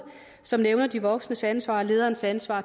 som nævner de voksnes ansvar og lederens ansvar